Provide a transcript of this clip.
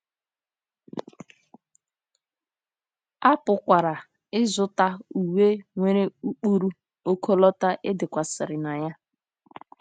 A pụkwara ịzụta uwe nwere ụkpụrụ ọkọlọtọ e dekwasịrị na ya.